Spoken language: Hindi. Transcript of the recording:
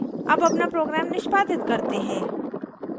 अब अपना program निष्पादित करते हैं